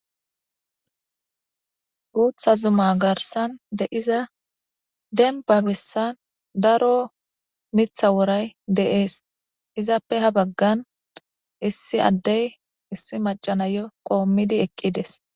Guutha Zuma garssan de7iza dembba bessan daro mitha woray de7ees. Izappe ha baggan issi addey issi maccay nayo qoommidi eqqides.